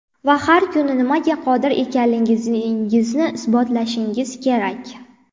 Va har kuni nimaga qodir ekanligingizni isbotlashingiz kerak.